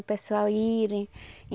O pessoal irem.